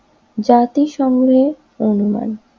জাতি সমূহের অনুমান।